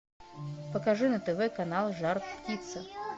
покажи на тв канал жар птица